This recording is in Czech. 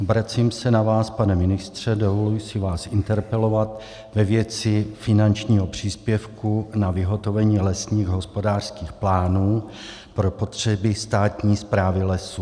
Obracím se na vás, pane ministře, dovoluji si vás interpelovat ve věci finančního příspěvku na vyhotovení lesních hospodářských plánů pro potřeby státní správy lesů.